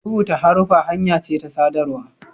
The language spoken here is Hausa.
rubuta haruffa hanya ce ta sadarwa